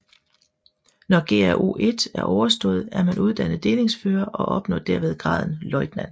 Når GRO1 er overstået er man uddannet delingsfører og opnår derved graden løjtnant